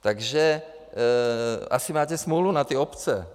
Takže asi máte smůlu na ty obce.